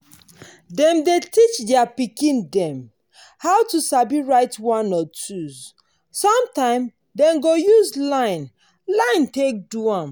dem dey teach their pikin dem how to sabi write one or twos. sometimes dem go use line line take do am.